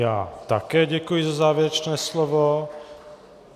Já také děkuji za závěrečné slovo.